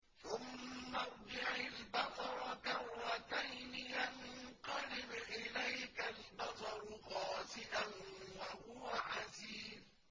ثُمَّ ارْجِعِ الْبَصَرَ كَرَّتَيْنِ يَنقَلِبْ إِلَيْكَ الْبَصَرُ خَاسِئًا وَهُوَ حَسِيرٌ